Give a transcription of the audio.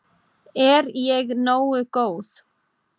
Er ég nógu góð?